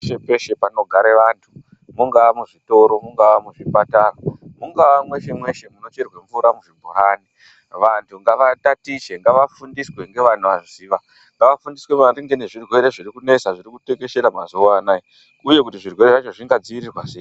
Peshe peshe panogare vanthu mungaa muzvitoro mungaa muzvipatara mungaa mweshe mweshe munocherwe mvura muzvibhorani vanthu ngava tatiche ngavafundiswe ngevanoziva ngavafundiswe maningi nezvirwere zviri kunesa zviri kutekeshera mazuwa anaya uye kuti zvirwere zvacho zvingadziirirwa sei.